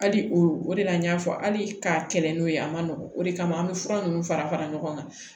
Hali o o de la n y'a fɔ hali ka kɛlɛ n'o ye a ma nɔgɔn o de kama an bɛ fura ninnu fara fara ɲɔgɔn kan